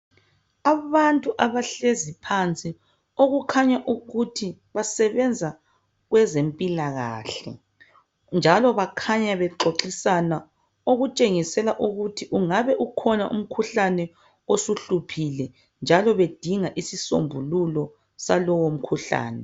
Abantu abahlezi phansi okukhanya ukuthi basebenza kwezempilakahle njalo bakhanya bexoxisana okutshengisela ukuthi ungabe ukhona umkhuhlane osuhluphile njalo bedinga isisombululo salowo mkhuhlane.